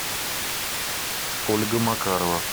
ольга макарова